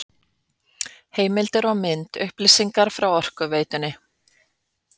Heimildir og mynd: Upplýsingar frá Orkuveitunni.